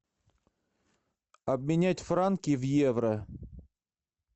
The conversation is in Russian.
обменять франки в евро